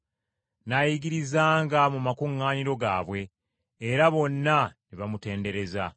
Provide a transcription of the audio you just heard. N’ayigirizanga mu makuŋŋaaniro gaabwe, era bonna ne bamutendereza.